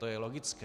To je logické.